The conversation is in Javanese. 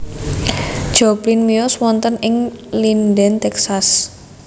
Joplin miyos wonten ing Linden Texas